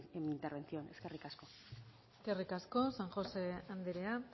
en mi intervención eskerrik asko eskerrik asko san josé andrea